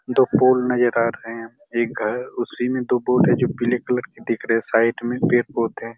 दो पूल नज़र आ रहे है एक घर उसी में दो फूल है जो पीले कलर के दिख रहे है साइड में पेड़-पौधे--